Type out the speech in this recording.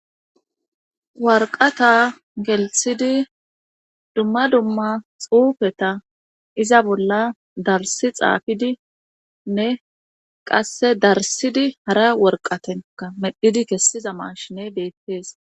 Warqqata gelsidi dumma dumma xuufeta iza bolla darssi xaafidinne qasse darssidi hara waraqqaten medhidi kesiza maashinne beetees.